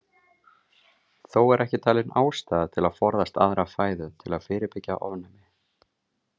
Þó er ekki talin ástæða til að forðast aðra fæðu til að fyrirbyggja ofnæmi.